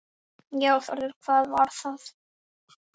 Já Þórður, hvað var það?